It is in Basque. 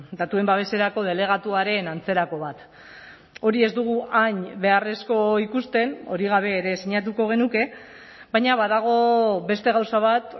datuen babeserako delegatuaren antzerako bat hori ez dugu hain beharrezko ikusten hori gabe ere sinatuko genuke baina badago beste gauza bat